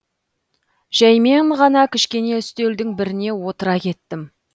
жәймен ғана кішкене үстелдің біріне отыра кеттім